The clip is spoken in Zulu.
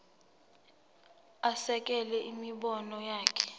asekele imibono yakhe